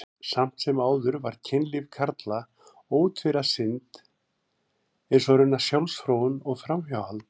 Samt sem áður var kynlíf karla ótvíræð synd, eins og raunar sjálfsfróun og framhjáhald.